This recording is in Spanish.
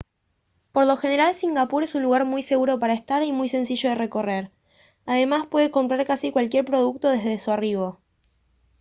por lo general singapur es un lugar muy seguro para estar y muy sencillo de recorrer además puede comprar casi cualquier producto desde su arribo